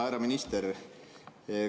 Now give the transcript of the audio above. Härra minister!